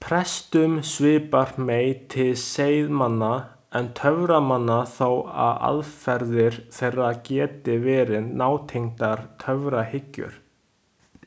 Prestum svipar meir til seiðmanna en töframanna þó að aðferðir þeirra geti verið nátengdar töfrahyggju.